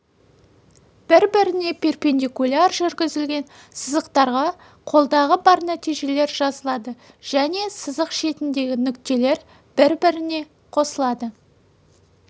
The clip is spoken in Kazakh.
бір-біріне перпендикуляр жүргізілген сызықтарға қолдағы бар нәтижелер жазылады және сызық шетіндегі нүктелер бір-біріне қосылады